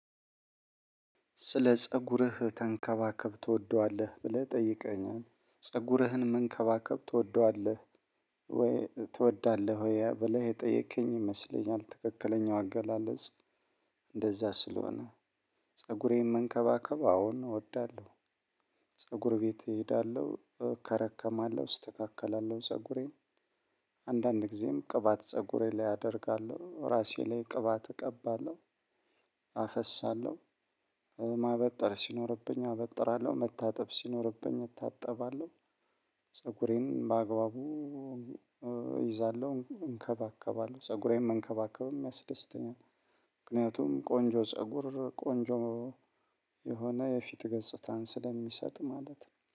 ስለ ፀጉርህ ተንከባከብ ትወደዋለህ ብለህ ጠይቀሀኛል ፀጉርህን መንከባከብ ትወደዋለህ ወይ ትወዳለህ ወይ ብለህ የጠየከኝ ይመስለኛል። ትክክለኛው አገላለጽ እንደዛ ስለሆነ ፀጉሬን መንከባከብ አዎን እወዳለሁ። ፀጉር ቤት እሄዳለሁ እከረከማለሁ እስተካከላለሁ ፀጉሬን። አንዳንድ ጊዜም ቅባት ፀጉሬ ላይ አደርጋለሁ ራሴ ላይ ቅባት እቀባለሁ። አፈሳለሁ። ማበጠር ሲኖርብኝ አበጥራለሁ መታጠብ ሲኖርብኝ እታጠባለሁ። ፀጉሬን በአግባቡ እይዛለሁ እንከባከባለሁ ፀጉሬን መንከባከብም ያስደስተኛል። ምክንያቱም ቆንጆ ፀጉር ቆንጆ የሆነ የፊት ገጽታን ስለሚሰጥ ማለት ነው